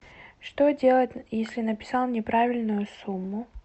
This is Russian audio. что делать если написал неправильную сумму